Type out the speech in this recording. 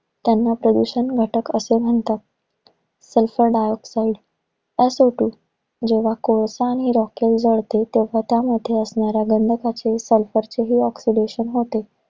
त्यांना प्रदूषण घटक असं म्हणतात. Sulphur dioxide असतु जेव्हा कोळसा आणि rockel जळते. तेव्हा त्यामध्ये असणाऱ्या गंधक sulphur चे जे oxidation होते.